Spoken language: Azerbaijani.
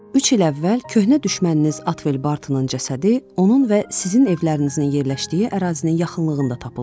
Üç il əvvəl köhnə düşməniniz Atvel Bartonun cəsədi onun və sizin evlərinizin yerləşdiyi ərazinin yaxınlığında tapıldı.